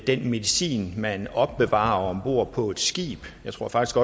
den medicin man opbevarer ombord på et skib jeg tror faktisk